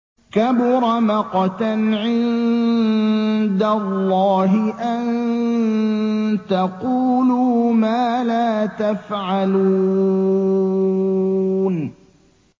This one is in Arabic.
كَبُرَ مَقْتًا عِندَ اللَّهِ أَن تَقُولُوا مَا لَا تَفْعَلُونَ